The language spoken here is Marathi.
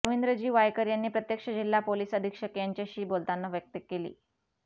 रवींद्रजी वायकर यांनी प्रत्यक्ष जिल्हा पोलीस अधीक्षक यांच्याशी बोलतांना व्यक्त केली